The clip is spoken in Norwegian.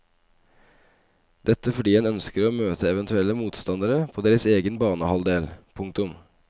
Dette fordi en ønsker å møte eventuelle motstandere på deres egen banehalvdel. punktum